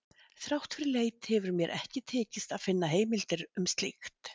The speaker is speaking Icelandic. Þrátt fyrir leit hefur mér ekki tekist að finna heimildir um slíkt.